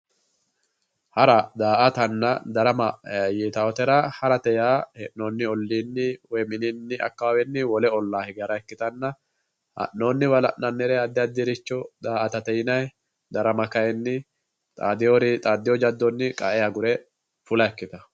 Hara, da"aattanna darama yitawotera hee'nonni ollini woyi akawawenni wole olla higge hara ikkittanna ha'noniwa la'nanire addi addiricho da"aatate yinnanni darama kayinni xaadino jadonni qae agure fulla ikkittano.